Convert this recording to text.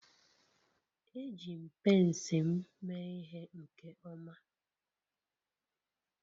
Eji m pence m mee ihe nke ọma